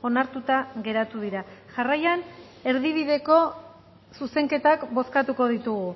onartuta geratu dira jarraian erdibideko zuzenketak bozkatuko ditugu